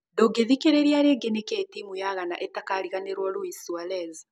Ndũngĩthikĩrĩria rĩngĩ Nĩkĩĩ timũ ya ghana ĩtakariganĩrũo Luis Suarez?